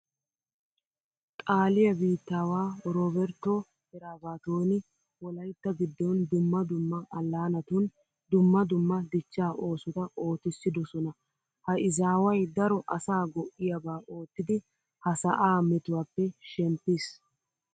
Xaaliya biittaawaa orooberttoo eraabaatooni wolaytta giddon dumma dumma allaanatun dumma dumma dichchaa oosota ootissidosona. Ha izaaway daro asaa go"iyaba oottidi ha sa'aa metuwappe shemppiis.